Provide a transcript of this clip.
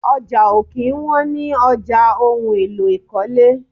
Ọjà ó kí ń wọn ní ọjà ohùn èlò ikọle